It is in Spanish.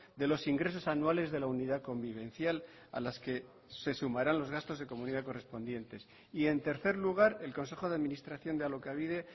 de los ingresos anuales de la unidad convivencial a las que se sumarán los gastos de comunidad correspondientes y en tercer lugar el consejo de administración de alokabide